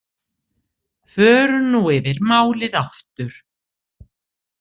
Förum nú yfir málið aftur.